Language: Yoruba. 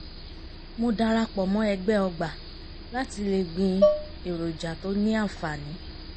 mo darapọ̀ mọ́ ẹgbẹ́ ọgbà láti le gbin èròjà tó ní àǹfààní